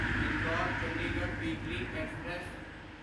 Indore Chandigarh weekly express